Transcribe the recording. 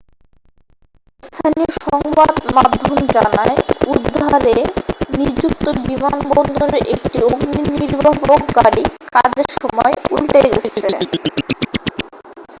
স্থানীয় সংবাদ মাধ্যম জানায় উদ্ধারে নিযুক্ত বিমানবন্দরের একটি অগ্নি নির্বাপক গাড়ি কাজের সময় উল্টে গেছে